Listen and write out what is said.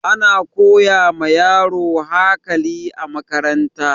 Ana koya ma yaro hakali a makaranta